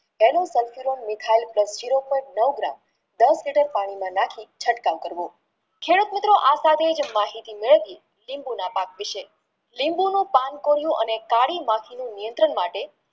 દસ લીટર પાણીમાં નાખી ચટકાવ કરવો માહિતી મેળળવવી લીંબુના પાક વિશે લીંબુનું પણ કોરું અને કાળી માખીનું નિયંત્રણ માટે